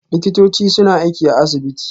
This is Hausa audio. Likitoci suna aiki a asibiti